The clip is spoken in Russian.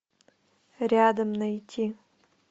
рядом найти